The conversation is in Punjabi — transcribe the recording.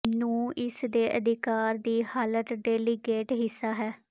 ਨੂੰ ਇਸ ਦੇ ਅਧਿਕਾਰ ਦੀ ਹਾਲਤ ਡੈਲੀਗੇਟ ਹਿੱਸਾ ਹੈ